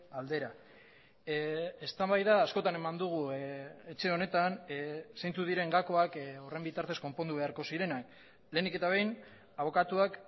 aldera eztabaida askotan eman dugu etxe honetan zeintzuk diren gakoak horren bitartez konpondu beharko zirenak lehenik eta behin abokatuak